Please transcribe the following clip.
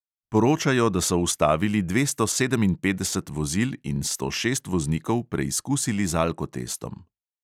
Poročajo, da so ustavili dvesto sedeminpetdeset vozil in sto šest voznikov preizkusili z alkotestom.